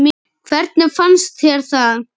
Hvernig fannst þér það?